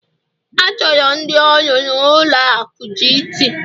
achọrọ ndị ọrụ na-ụlọ akụ Gt